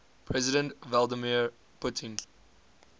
president vladimir putin